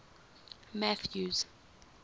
mathews